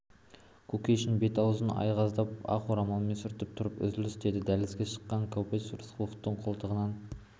кушекин бет-аузын айғыздап ақ орамалмен сүртіп тұрып үзіліс деді дәлізге шыққанда кобозев рысқұловты қолтығынан